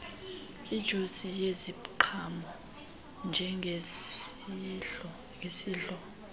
ijusi yeziqhamo njengesidlo